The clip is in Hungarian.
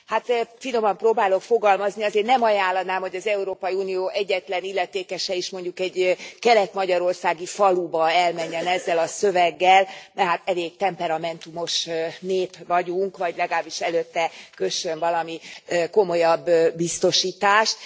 Hát, finoman próbálok fogalmazni, azért nem ajánlanám, hogy az Európai Unió egyetlen illetékese is mondjuk egy kelet magyarországi faluba elmenjen ezzel a szöveggel, mert hát elég temperamentumos nép vagyunk, vagy legalábbis előtte kössön valami komolyabb biztosítást.